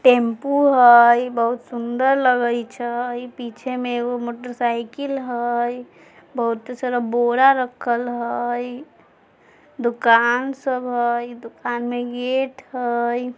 Tempo हय बहुत सुंदर लगाई छै अ ई पीछे मे मोटरसाइकिल हय बहुत सारा बोरा रखल हय दुकान सब हय दुकान गेट हय।